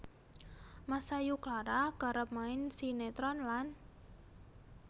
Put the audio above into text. Masayu Clara kerep main sinetron lan